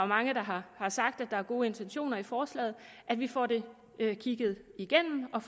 mange der har sagt at der er gode intentioner i forslaget at vi får det kigget igennem og